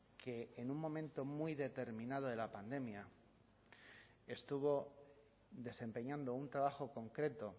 que en un momento muy determinado de la pandemia estuvo desempeñando un trabajo concreto